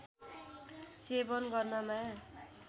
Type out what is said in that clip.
सेवन गर्नमा